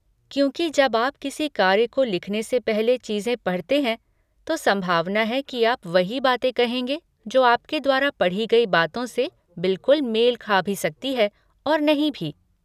क्योंकि जब आप किसी कार्य को लिखने से पहले चीज़ें पढ़ते हैं, तो संभावना है कि आप वही बातें कहेंगे, जो आपके द्वारा पढ़ी गई बातों से बिल्कुल मेल खा भी सकती है और नहीं भी।